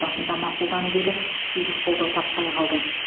басында мақұлданып еді кейін қолдау таппай қалды